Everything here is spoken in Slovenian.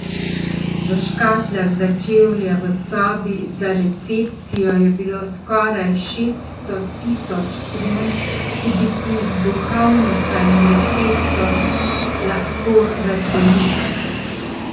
V škatlah za čevlje v sobi za recepcijo je bilo skoraj šeststo tisoč kron, ki bi si jih duhovnica in receptor lahko razdelila.